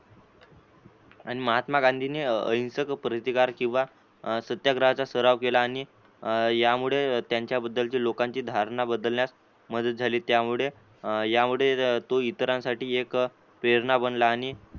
आणि महात्मा गांधीनी अहिंसक प्रतिकार कीवा सत्याग्रहाचा सराव केला आणि यामुळे त्यांचा बद्दलची लोकांची धरणा बदलण्यात मदत झाली त्यामुळे यामुळे तो इतरांसाठी एक प्रेरणा बनला आणि